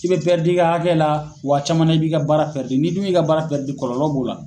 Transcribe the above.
I bɛ i ka hakɛ la wa caman i ka baara n'i dun y'i ka baara kɔlɔlɔ b'o la.